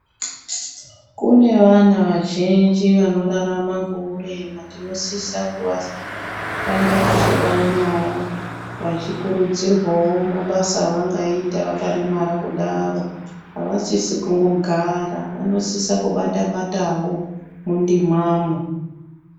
Kune vana vazhinji vanorarama ngourema, tinosisa kuva kuramba teivaonawo vachikurudzirwawo mabasa avangaita vakaremara vakadaro. Avasisi kungogara. Vanosisa kungobata batawo mundimamwo.